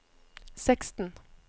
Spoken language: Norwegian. seksten